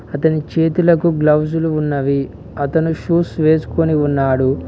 అతని చేతులకు గ్లౌజులు ఉన్నవి అతని షూస్ వేసుకొని ఉన్నాడు.